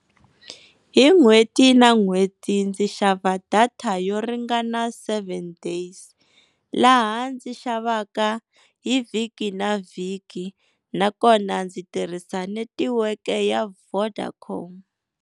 Hi n'hweti na n'hweti ndzi xava data yo ringana seven days laha ndzi xavaka hi vhiki na vhiki nakona ndzi tirhisa netiweke ya Vodacom.